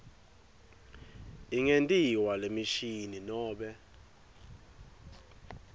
ingentiwa ngemishini nobe